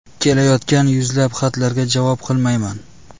Kelayotgan yuzlab xatlarga javob qilmayman.